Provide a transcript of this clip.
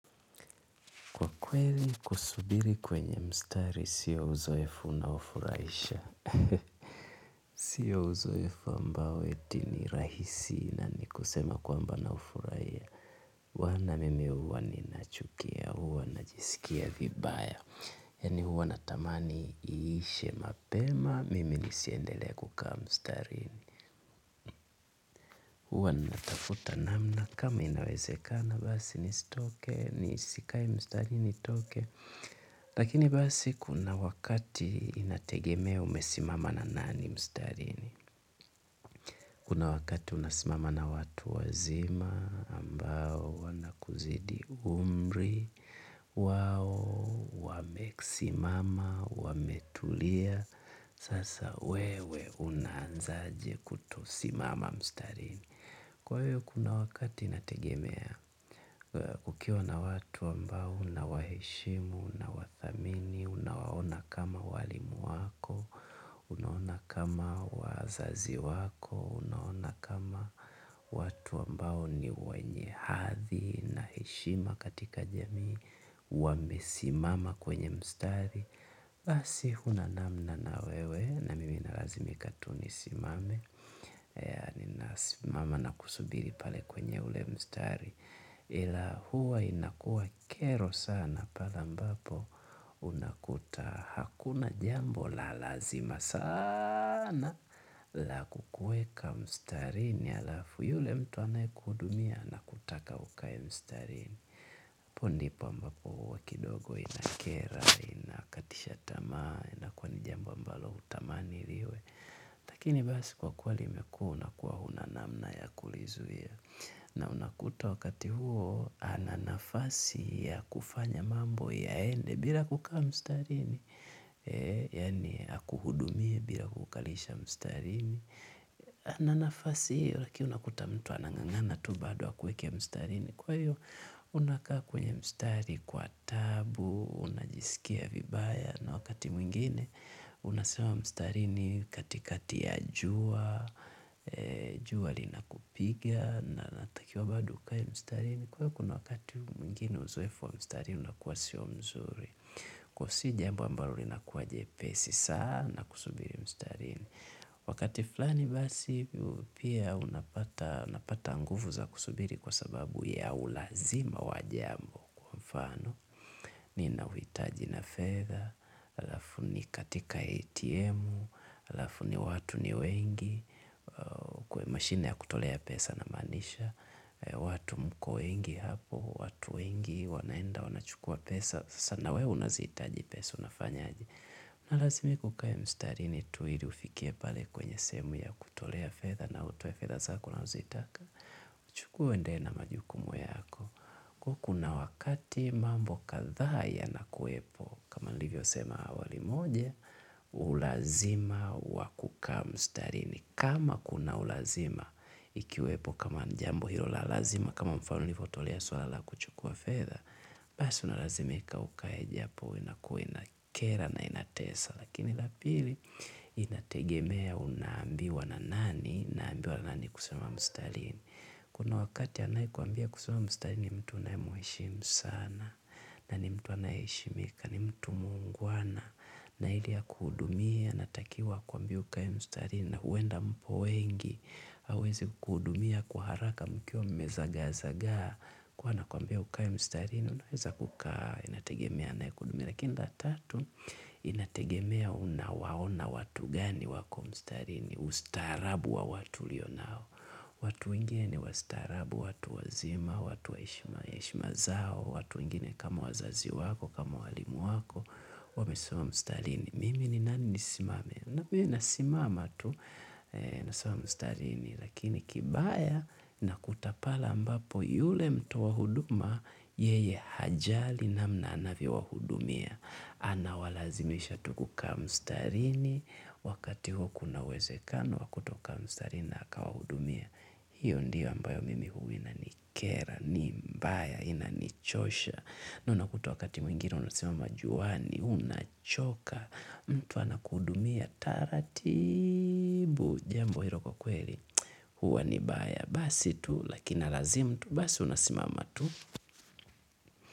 Kwa kweli, kusubiri kwenye mstari, sio uzoefu unaofurahisha. Sio uzoefu ambao eti ni rahisi na mi kusema kwamba naufurahia bwan mimi huwa ninachukia huwa najisikia vibaya yani huwa natamani iishe mapema, mimi nisiendelee kukaa mstarini. Huwa ninatafuta namna, kama inawezekana basi nisitoke, nisikae mstari nitoke. Lakini basi kuna wakati inategemea umesimama na nani mstarini kuna wakati unasimama na watu wazima ambao wanakuzidi umri wao, wamesimama, wame tulia sasa wewe unaanzaje kutosimama mstarini kwa hiyo kuna wakati inategemea ukiwa na watu ambao unawaheshimu, unawathamini unawaona kama walimu wako, unaona kama wazazi wako, unaona kama watu ambao ni wenye hadhi na heshima katika jamii wamesimama kwenye mstari, basi huna namna na wewe na mimi nalazimika tu ni simame mama nakusubiri pale kwenye ule mstari ila huwa inakua kero sana pale ambapo unakuta hakuna jambo la lazima sana la kukueka mstarini halafu yule mtu anayekudumia anakutaka ukae mstarini apo ndipo mbapo huwa kidogo inakera, inakatisha tamaa inakua ni jambo mbalo hutamani liwe lakini basi kwa kuwa limekua unakuwa huna namna ya kulizuia na unakuta wakati huo ana nafasi ya kufanya mambo yaende bila kukaa mstarini yani akuhudumie bila kukukalisha mstarini ana nafasi hiyo lakini unakuta mtu anang'ang'ana tu bado akuweke mstarini kwa hiyo unakaa kwenye mstari kwa tabu, unajisikia vibaya na wakati mwingine unasimama mstarini katikati ya jua, jua lina kupiga na unatakiwa bado ukae mstarini kwahiyo kuna wakati mwingine uzoefu wa mstarini unakuwa sio mzuri. Kwahiyo si jambo ambalo lina kuwa jepesi sana kusubiri mstarini. Wakati fulani basi pia unapata nguvu za kusubiri kwa sababu ya ulazima wa jambo. Mfano nina uhitaji na fedha alafu nikae katika atm halafu watu ni wengi kwenye mashine ya kutolea pesa na maanisha watu mko wengi hapo watu wengi, wanaenda wana chukua pesa sasa nawewe unazihitaji pesa unafanyaje. Unalazimika ukae mstarini tu ili ufikie pale kwenye sehemu ya kutolea fedha nawewe utoe fedha zako unazozitaka uchukue uendelee na majukumu yako kwahiyo kuna wakati mambo kadhaa yana kuwepo kama nilivyo sema awali moja ulazima wa kukaa mstarini kama kuna ulazima ikiwepo kama ni jambo hilo la lazima kama mfano nilivyo tolea swala kuchukua fedha basi unalazimika ukae japo huwa inakua inakera na inatesa lakini la pili inategemea una ambiwa na nani unaambiwa na nani kusimama mstarini kuna wakati anae kwambia kusimama mstarini ni mtu unaemu heshimu sana na ni mtu anaeheshimika ni mtu muungwana na ili akuhudumie anatakiwa akuambie ukae mstarini na huenda mpo wengi hawezi kuku hudumia kwa haraka mkiwa mme zagaa zagaa kwhiyo anakuambia ukae mstarini unaweza kukaa inategemea anaekuhudumia lakini la tatu inategemea unawaona watu gani wako mstarini. Ustaarabu wa watu lulio nao watu wengine ni wastaarabu, watu wazima, watu wa heshima zao watu wengine kama wazazi wako, kama walimu wako wamesimama mstarini mimi ni nani nisisimame nami nasimama tu nasimama mstarini lakini kibaya unakuta pale ambapo yule mtoa huduma yeye hajali namna anavyo wahudumia anawalazimisha tu kukaa mstarini wakati huo kuna uwezekano wa kuto kukaa mstarini na akawahudumia hiyo ndio ambayo mimi inanikera ni mbaya na inanichosha unakuta wakati mwingine unasimama juani unachoka mtu anakuhudumia taratibu jambo hilo kwakweli huwa ni baya basi tu lakini inalazimu tu basi unasimama tu.